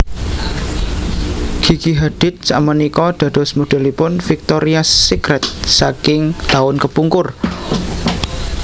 Gigi Hadid sakmenika dados modelipun Victorias Secret saking taun kepungkur